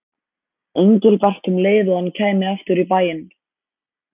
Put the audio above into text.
Engilbert um leið og hann kæmi aftur í bæinn.